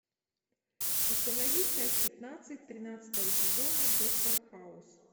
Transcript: установи часть пятнадцать тринадцатого сезона доктор хаус